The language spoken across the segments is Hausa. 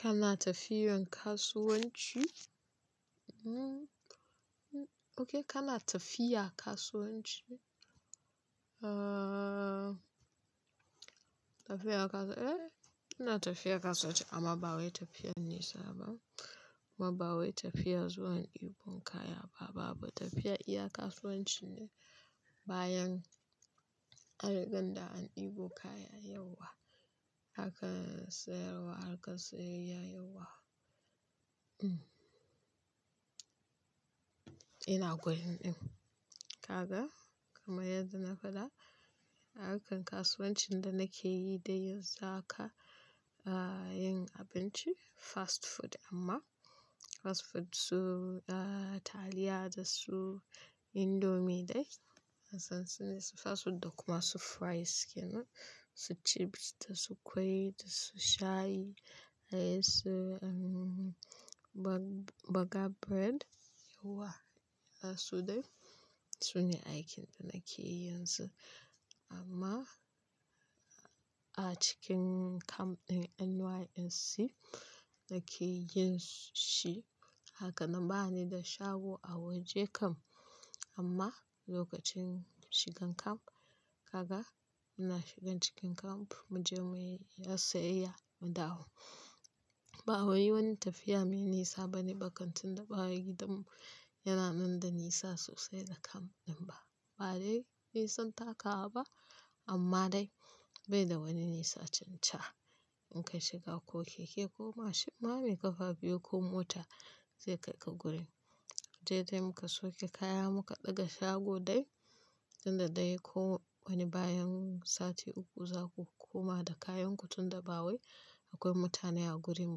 Kana tafiyan kasuwanci? Kodai, kana tafiya kasuwanci? Eee, ina tafiya kasuwanci amma ba wai tafiyar nesa ba. Kuma ba wai tafiyar zuwan dibo kaya ba. Babu tafiyar iya kasuwanci ne bayan anriga da an dibo kaya yauwa aka sayarwa, aka sayayya yauwa. Ina gurin din. Kaga kamar yadda na faɗa, a harkan kasuwancin da nake yi dai zaka yin abinci fast food amma fast food su taliya da su indomie dai. Hassan su ne su fast food da kuma su fries yana, su chips da su ƙwai da su shayi, har su baga bread yauwa. Su dai su ne aikin da nake yin su amma a cikin camp ɗin NYSC nake yin shi. Haka nan ba ni da shago a waje kam amma lokacin shigan kam, gaga ina shigan cikin kam mu je mu yi sayayya mu dawo. Ba wai wani tafiya mai nisa bane ba kantin da ba gidan mu yana nan da nisa sosai da camp ɗin ba. Ba dai nisan takawa ba amma dai bai da wani nisa tun can. In ka shiga ko keke ko mashin me ƙafa biyu ko mota zai kai ka gurin. Sai dai muka sauke kaya muka ɗaga shago dai, tunda dai ko wani bayan sati uku zaku koma da kayanku tunda ba wai akwai mutane a gurin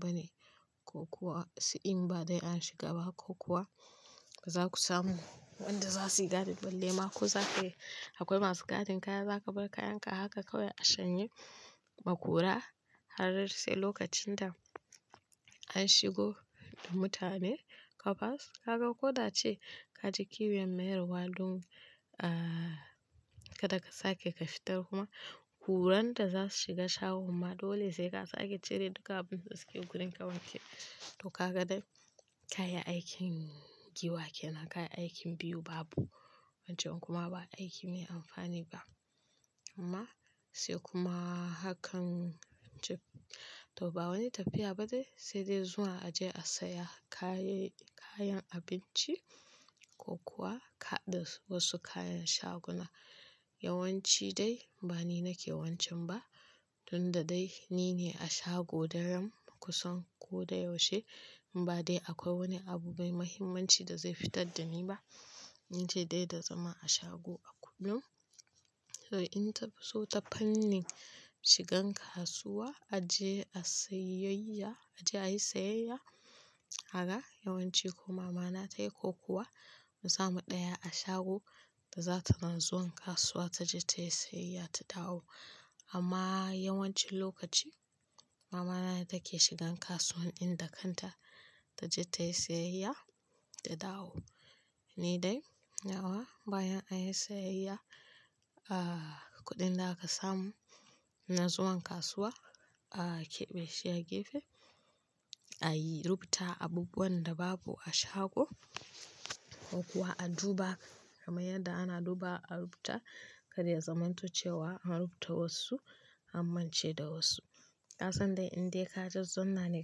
bane. Ko kuwa sai in ba dai an shiga ba ko kuwa zaku samu wanda zasuyi gadin dinne ma ko zakayi. Akwai masu gadin kaya, zaka bar kayanka haka kawai a shanye makura har sai lokacin da an shigo da mutane ka basu. Kaga ko da cewa kaji kinwiya mayarwa don kada ka sake ka fitar kuma kuran da za su shiga shago kuma dole zai kasa ake cire duka abun da suke gurin ka wanke. To kaga dai kayi aikin giwa kenan, kayi aikin biyu babu wancan kuma ba aiki mai amfani ba. Amma sai kuma hakan ce to ba wani tafiya ba dai sai dai zuwa a je a saya kayan abinci ko kuwa kaɗa wasu kayan shaguna. Yawanci dai ba ni nake wancan ba tunda dai ni ne a shago daren kusan ko da yaushe. Ba dai akwai wani abu mai mahimmanci da zai fitar da ni ba. In ji dai da zama a shago a kullum. To in ta fi so ta fanni shigan kasuwa a je a sayayyaya, a je a yi sayayya, haka yawanci ko mamana ta ko kuwa mu samu ɗaya a shago da zata nan zuwan kasuwa ta je ta yi sayayya ta dawo. Amma yawancin lokaci mamana ne take shigan kasuwan ɗin da kanta ta je ta yi sayayya ta dawo. Ni dai nawa bayan an yi sayayya, kuɗin da aka samu na zuwan kasuwa akebe shi a gefe. A rubuta abubuwan da babu a shago ko kuwa a duba kamar yadda ana duba a rubuta. Kar ya zama to cewa an rubuta wasu an mance da wasu. Ka san dai in dai ka zazzauna ne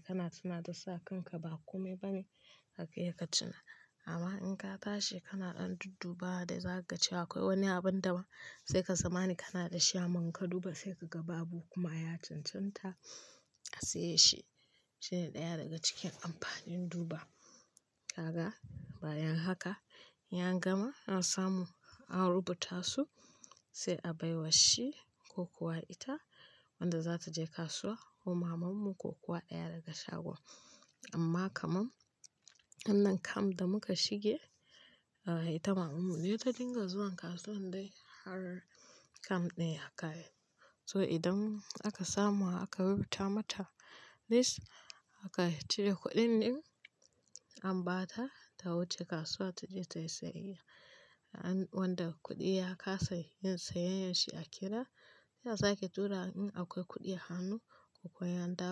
kana tuna da sa kanka ba kome bane haka yake ka tuna. Amma in ka tashi kana ɗan dudduba da za ka ce akwai wani abun da ba sai ka zama ne kana da shi inka duba sai ka ga babu kuma ya cancanta a saye shi. Shine ɗaya daga cikin amfanin duba. Kaga bayan haka in angama an samu an rubuta su sai a baiwa shi ko kuwa ita wanda za ta je kasuwa ko maman mu ko kuwa ɗaya daga shagon. Amma kaman wannan kam da muka shige ita maman mu ce ta dinga zuwan kasuwan dai har camp ɗin ya kare. So idan aka samu aka rubuta mata list aka cire kuɗin din an ba ta ta wuce kasuwa ta je ta yi sayayya. Wanda kuɗi ya kasa yin sayayyar shi a kida ya sake tura in akwai kuɗi a hannu ko kuwa ya dawo.